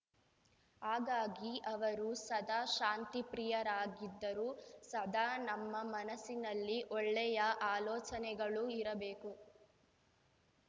ಹಾಗಾಗಿ ಅವರು ಸದಾ ಶಾಂತಿಪ್ರಿಯರಾಗಿದ್ದರು ಸದಾ ನಮ್ಮ ಮನಸ್ಸಿನಲ್ಲಿ ಒಳ್ಳೆಯ ಆಲೋಚನೆಗಳು ಇರಬೇಕು